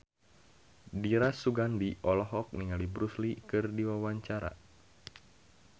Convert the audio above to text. Dira Sugandi olohok ningali Bruce Lee keur diwawancara